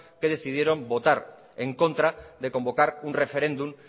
que decidieron votar en contra de convocar un referéndum